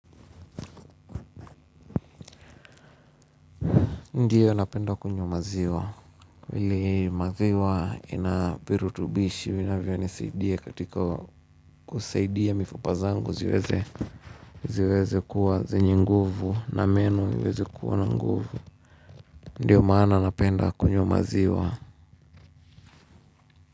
Ndio napenda kunywa maziwa vile maziwa inavirutubishi. Vinavyo nisaidia katika kusaidia mifupa zangu ziweze ziweze kuwa zenye nguvu na meno iweze kuwa na nguvu. Ndiyo maana napenda kunywa maziwa.